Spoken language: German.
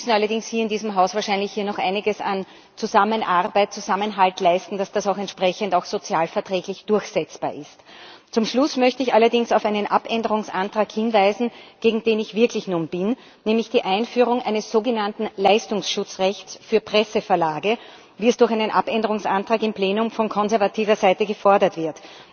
Wir müssen allerdings hier in diesem Haus wahrscheinlich noch einiges an Zusammenarbeit, Zusammenhalt leisten, dass das auch entsprechend sozial verträglich durchsetzbar ist. Zum Schluss möchte ich allerdings auf einen Änderungsantrag hinweisen, gegen den ich wirklich nun bin, nämlich die Einführung eines sogenannten Leistungsschutzrechts für Presseverlage, wie es durch einen Änderungsantrag im Plenum von konservativer Seite gefordert wird.